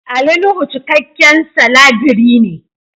Ali Nuhu cikakken salabirii ne.